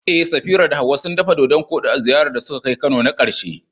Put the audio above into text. Eh, Safira da Hawwa sun dafa dodan-koɗi a ziyarar da suka kai Kano na karshe.